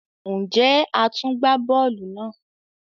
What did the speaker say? Njé a tún gbà bóòlù náà?